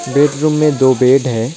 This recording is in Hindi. बेडरूम में दो बेड है।